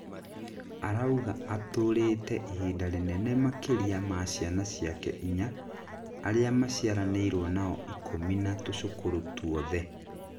arauga aturĩte ihinda rĩnene makĩria ma ciana ciake inya, aria maciaranĩirwo nao ikũmi na tucukuru tuothe.